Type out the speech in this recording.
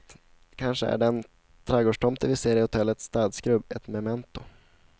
Kanske är den trädgårdstomte vi ser i hotellets städskrubb ett memento.